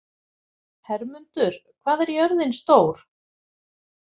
Hermundur, hvað er jörðin stór?